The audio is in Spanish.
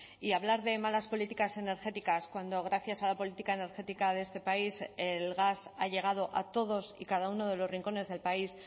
y hablar de malas políticas energéticas cuando gracias a la política energética de este país el gas ha llegado a todos y cada uno de los rincones del país